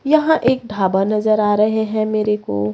यहां एक ढाबा नजर आ रहे हैं मेरे को।